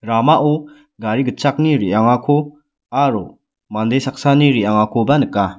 ramao gari gitchakni re·angako aro mande saksani re·angakoba nika.